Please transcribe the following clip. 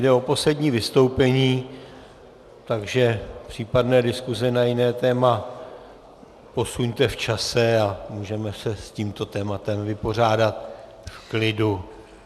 Jde o poslední vystoupení, takže případné diskuse na jiné téma posuňte v čase, a můžeme se s tímto tématem vypořádat v klidu.